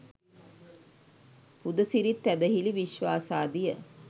පුදසිරිත් ඇදහිලි විශ්වාසාදිය